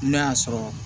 N'a y'a sɔrɔ